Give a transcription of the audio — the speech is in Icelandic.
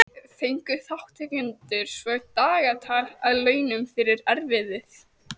Fengu þátttakendur svo dagatal að launum fyrir erfiðið.